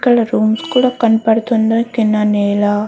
ఇక్కడ రూమ్స్ కూడా కనపడుతున్నాయ్ కింద నేల --